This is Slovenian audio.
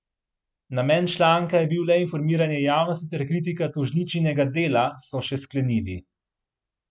Namen članka je bil le informiranje javnosti ter kritika tožničinega dela, so še sklenili.